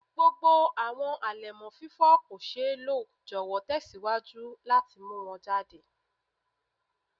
Gbogbo awọn alẹmọ fifọ ko ṣee lo jọwọ tẹsiwaju lati mu wọn jade